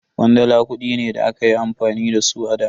Kwandala kudi ne da akayi amfani da su a da.